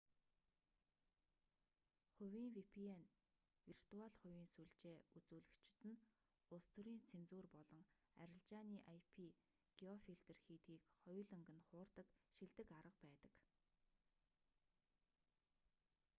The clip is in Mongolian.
хувийн vpn виртуал хувийн сүлжээ үзүүлэгчид нь улс төрийн цензур болон арилжааны ip-геофилтер хийдгийг хоёуланг нь хуурдаг шилдэг арга байдаг